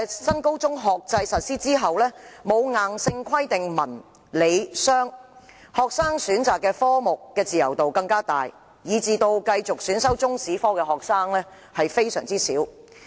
新高中學制實施後，對選修文、理、商科沒有硬性規定，學生的自由度更大，繼續選修中史科的學生大幅減少。